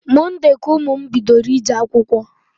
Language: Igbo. Monde ka ụmụ m bidoro ije akwụkwọ